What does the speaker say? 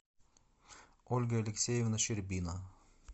ольга алексеевна щербина